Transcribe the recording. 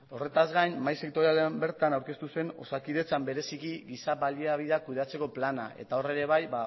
horretaz gain mahai sektorialean bertan aurkeztu zen osakidetzan bereziki giza baliabideak kudeatzeko plana eta hor ere bai